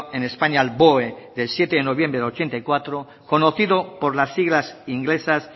en españa al boe del siete de noviembre del ochenta y cuatro conocido por las siglas inglesas